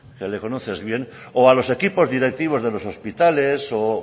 que le conoces bien o a los equipos directivos de los hospitales o